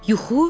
Yuxu?